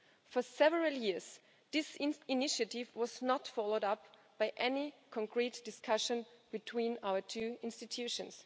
For several years this initiative was not followed up by any concrete discussion between our two institutions.